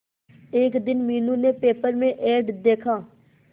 एक दिन मीनू ने पेपर में एड देखा